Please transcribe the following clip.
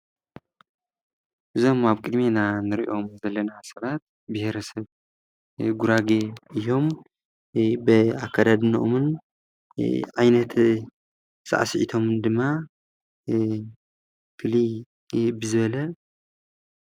እዞም ኣብ ቅድሜና ንሪኦም ዘለና ሰባት ብሄረሰብ ጉራጌ እዮም። ብኣካዳድነኦምን ዓይነት ሳዕሲዒቶምን ድማ ፍልይ ብዝበለ?